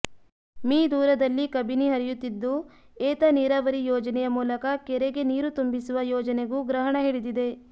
me ದೂರದಲ್ಲಿ ಕಬಿನಿ ಹರಿಯುತ್ತಿದ್ದು ಏತ ನೀರಾವರಿ ಯೋಜನೆಯ ಮೂಲಕ ಕೆರೆಗೆ ನೀರು ತುಂಬಿಸುವ ಯೋಜನೆಗೂ ಗ್ರಹಣ ಹಿಡಿದಿದೆ